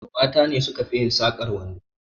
Mata ne suka fi yin sakar kwando